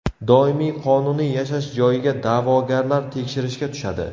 Doimiy qonuniy yashash joyiga da’vogarlar tekshirishga tushadi.